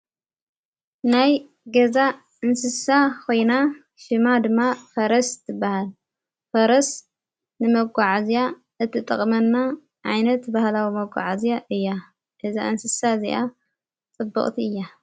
ናይ ገዛ እንስሳ ኾይና ሽማ ድማ ፈረስ ትበሃል ፈረስ ንመጕዓ እዚኣ እትጠቕመና ዓይይነት በህላዊ መጕዓዝያ እያ እዛ እንስሳ እዚኣ ጸበቕቲ እያ።